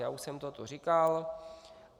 Já už jsem to tu říkal.